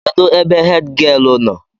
Kedụ ebe hèdgịelu nọ?